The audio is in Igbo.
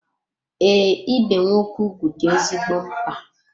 Ee, ibe nwoke ugwu dị ezigbo mkpa.